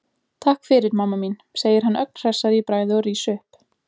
Takk fyrir, mamma mín, segir hann ögn hressari í bragði og rís upp.